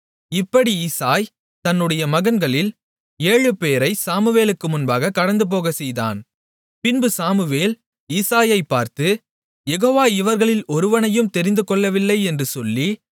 இப்படி ஈசாய் தன்னுடைய மகன்களில் ஏழு பேரை சாமுவேலுக்கு முன்பாகக் கடந்துபோகச்செய்தான் பின்பு சாமுவேல் ஈசாயைப் பார்த்து யெகோவா இவர்களில் ஒருவனையும் தெரிந்துகொள்ளவில்லை என்று சொல்லி